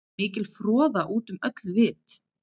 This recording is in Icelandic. Mikil froða út um öll vit.